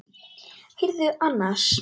Heyrðu annars.